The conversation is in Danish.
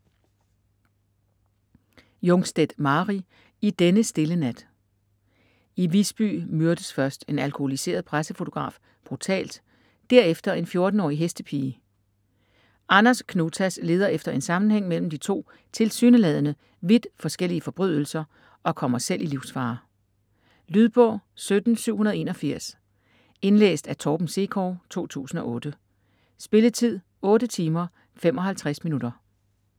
Jungstedt, Mari: I denne stille nat I Visby myrdes først en alkoholiseret pressefotograf brutalt, derefter en 14-årig hestepige. Anders Knutas leder efter en sammenhæng mellem de to tilsyneladende vidt forskellige forbrydelser og kommer selv i livsfare. Lydbog 17781 Indlæst af Torben Sekov, 2008. Spilletid: 8 timer, 55 minutter.